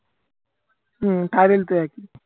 হম card এর তো একই।